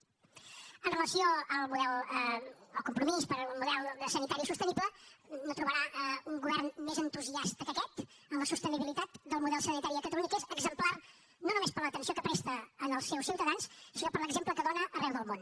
amb relació al compromís per un model sanitari sostenible no trobarà un govern més entusiasta que aquest en la sostenibilitat del model sanitari a catalunya que és exemplar no només per l’atenció que presta als seus ciutadans sinó per l’exemple que dóna arreu del món